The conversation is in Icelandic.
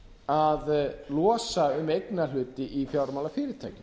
að losa um eignarhluti í fjármálafyrirtækjum